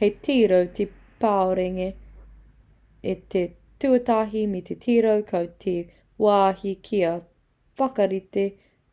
hei tiro ki te parurenga i te tuatahi me tiro koe ki te wāhi kia whakarite